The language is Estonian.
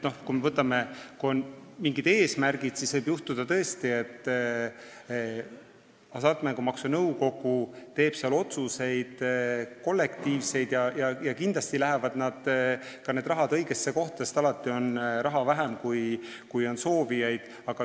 Kui on mingid eesmärgid, siis võib tõesti juhtuda, et Hasartmängumaksu Nõukogu teeb kollektiivseid otsuseid ja kindlasti läheb see raha ka õigesse kohta, kuid alati on raha vähem, kui on soovijaid.